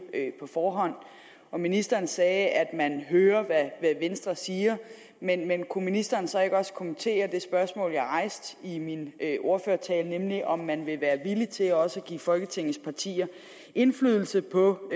på forhånd ministeren sagde at man hører hvad venstre siger men kunne ministeren så ikke også kommentere det spørgsmål jeg rejste i min ordførertale nemlig om man vil være villig til også at give folketingets partier indflydelse på